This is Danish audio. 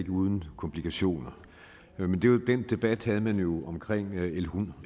uden komplikationer men den debat havde man jo